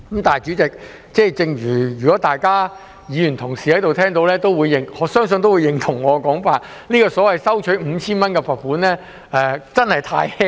代理主席，如果各位議員聽到，我相信也會認同我的說法，即 5,000 元的罰款真的太輕。